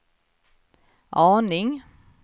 aning